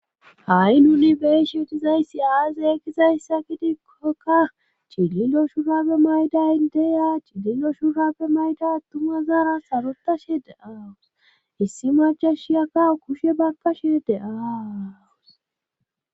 Ha7i nuni beeshi utizayssi aaze ekizayssa gidikkoka cililo shurabe maydayi deya chililo shurabe mayda attuma zaara sarotashe de aawus issi majashiyakawo kushe bakkashe deaawus